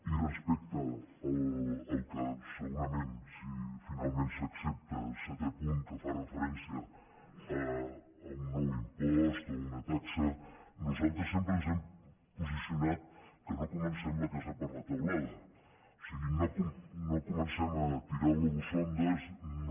i respecte al que segurament serà si finalment s’accepta el setè punt que fa referència a un nou impost o a una taxa nosaltres sempre ens hem posicionat que no comencem la casa per la teulada o sigui no comencem a tirar globus sonda no